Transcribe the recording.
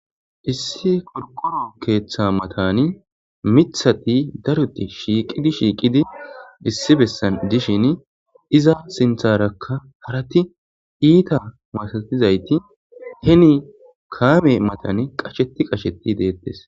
issi korqoro keeththa matani mithati daroti shiiqidi shiiqidi issi bessan dishin iza sintharakka harati iita masatizayti heni kaame matan qasheti qasheti deettes